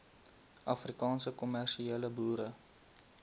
afrikaanse kommersiële boere